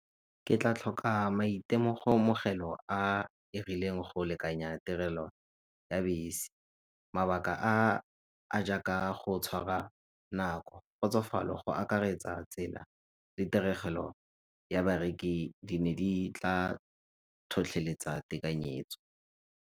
Ke tla tlhoka e rileng go lekanya tirelo ya bese. Mabaka a a jaaka go tshwara nako, kgotsofalo go akaretsa tsela le tiregelo ya di ne di tla tlhotlheletsa tekanyetso.